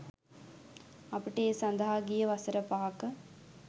අපට ඒ සඳහා ගියේ වසර පහක